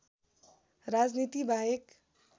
राजनीति बाहेक